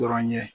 Dɔrɔn ye